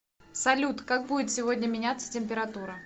салют как будет сегодня меняться температура